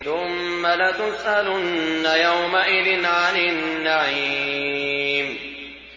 ثُمَّ لَتُسْأَلُنَّ يَوْمَئِذٍ عَنِ النَّعِيمِ